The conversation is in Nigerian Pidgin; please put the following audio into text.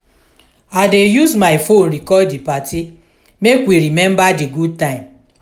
i dey use my phone record di party make we remember di good time.